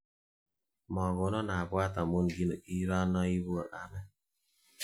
Mokonon abwat amun kiranoibu kamet